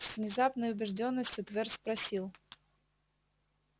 с внезапной убеждённостью твер спросил